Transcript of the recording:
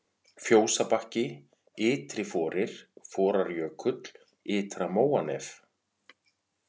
Fjósabakki, Ytriforir, Forarjökull, Ytra-Móanef